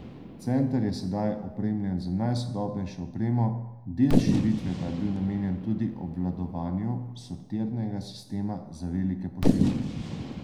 Center je sedaj opremljen z najsodobnejšo opremo, del širitve pa je bil namenjen tudi obvladovanju sortirnega sistema za velike pošiljke.